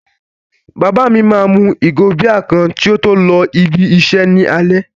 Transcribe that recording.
Bàbá mi máa mu ìgò bíà kan kí ó tó lọ ibi-iṣẹ́ ní alẹ́.